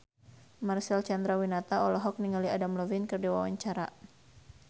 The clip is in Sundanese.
Marcel Chandrawinata olohok ningali Adam Levine keur diwawancara